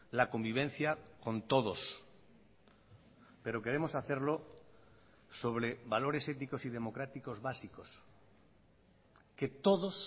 la convivencia con todos pero queremos hacerlo sobre valores éticos y democráticos básicos que todos